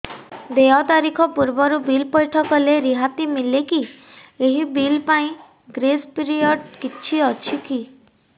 ଦେୟ ତାରିଖ ପୂର୍ବରୁ ବିଲ୍ ପୈଠ କଲେ ରିହାତି ମିଲେକି ଏହି ବିଲ୍ ପାଇଁ ଗ୍ରେସ୍ ପିରିୟଡ଼ କିଛି ଅଛିକି